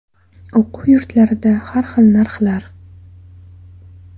O‘quv yurtlarida har xil narxlar.